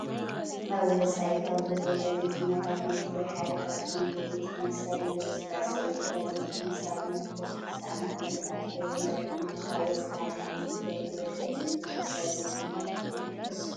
አብ ወፃኢ ካብ ዝርከቡ ጋዜጠኛታት ናይ ትግራይ ሓደ ካብ ዝኮነ ጋዜጠኛ እስታሊን ገብረስላሴ እዩ። ጋዜጠኛ እስታሊን አብ 2013 ዓ.ም አብ ትግራይ ዝነበረ ኩናት ካብ ወፃኢ ዓዲ ንህዝቢትግራይ መረጃ ዝህብ ዝነበረ ጋዜጠኛ እዩ። ንስኩም ከ ትፍልጥዎ ዶ?